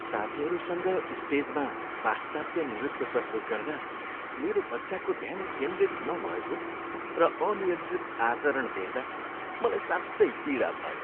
साथीहरूसँग स्टेजमा पाश्चात्य नृत्य प्रस्तुत गर्दा मेरो बच्चाको ध्यान केन्द्रित नभएको र अनियन्त्रित आचरण देख्दा मलाई साँच्चै पीडा भयो।